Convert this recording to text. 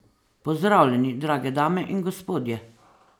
Pozdravljeni, drage dame in gospodje!